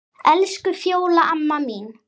Elsku Fjóla amma mín.